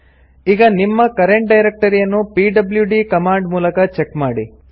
ಈಗ ನಿಮ್ಮ ಕರೆಂಟ್ ಡೈರೆಕ್ಟರಿಯನ್ನು ಪಿಡ್ಲ್ಯೂಡಿ ಕಮಾಂಡ್ ಮೂಲಕ ಚೆಕ್ ಮಾಡಿ